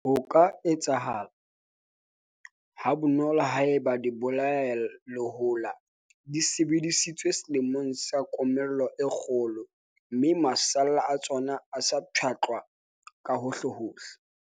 Hona ho ka etsahala ha bonolo ha eba dibolayalehola di sebedisitswe selemong sa komello e kgolo, mme masalla a tsona a sa pshatlwa ka hohlehohle.